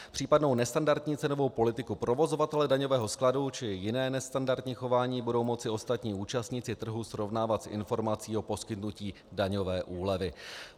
Případnou nestandardní cenovou politiku provozovatele daňového skladu či jiné nestandardní chování budou moci ostatní účastníci trhu srovnávat s informací o poskytnutí daňové úlevy.